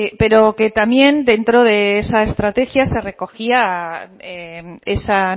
pero que también dentro de esa estrategia se recogía esa